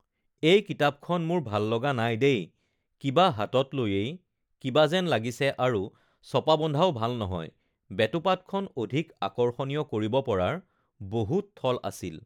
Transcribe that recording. এই কিতাপখন মোৰ ভাল লগা নাই দেই কিবা হাতত লৈয়েই কিবা যেন লাগিছে আৰু ছপা বন্ধাও ভাল নহয় বেটুপাতখন অধিক আকৰ্ষণীয় কৰিব পৰাৰ বহুত থল আছিল